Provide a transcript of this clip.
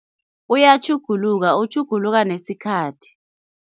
Uyatjhuguluka, utjhuguluka nesikhathi.